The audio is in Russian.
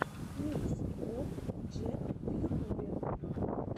микс боб джек в ютубе